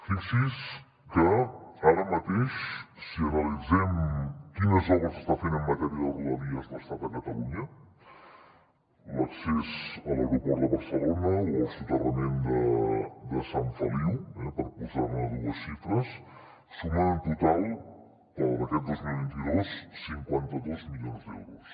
fixi’s que ara mateix si analitzem quines obres està fent en matèria de rodalies l’estat a catalunya l’accés a l’aeroport de barcelona o el soterrament de sant feliu eh per posar dues xifres sumen en total per a aquest dos mil vint dos cinquanta dos milions d’euros